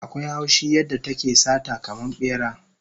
Akwai haushi yadda take sata kaman bera